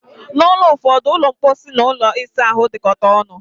N'ulo ụfọdụ, ulo mposi and ụlọ isa ahụ dikotara ọṅụ